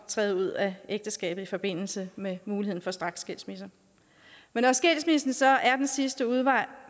træde ud af ægteskabet i forbindelse med muligheden for straksskilsmisse men når skilsmissen så er den sidste udvej